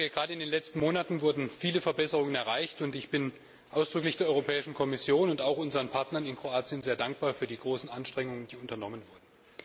Gerade in den letzten Monaten wurden viele Verbesserungen erreicht, und ich bin ausdrücklich der Kommission und auch unseren Partnern in Kroatien sehr dankbar für die großen Anstrengungen, die unternommen wurden.